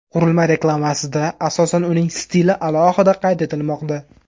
Qurilma reklamasida asosan uning stili alohida qayd etilmoqda.